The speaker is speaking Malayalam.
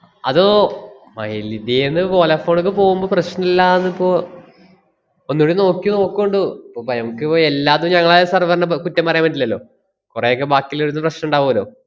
അതോ മൈലിഡിയേന്ന് വോലാഫോണ്ക്ക് പോവുമ്പോ പ്രശ്‌നല്ലാന്നിപ്പോ ഒന്നൂടി നോക്കി നോക്കുണ്ടു. ഇപ്പ ബയ~ മ്മക്കിപ്പം എല്ലാന്നും ഞങ്ങളെ server നെ പ~ കുറ്റം പറയാൻ പറ്റില്ലല്ലോ. കൊറേയൊക്കെ ബാക്കിയിള്ളവരുത്ത്ന്ന് പ്രശ്‌നം ഇണ്ടാവൂല്ലോ.